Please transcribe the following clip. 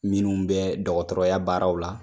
Minnu bɛ dɔgɔtɔrɔya baaraw la.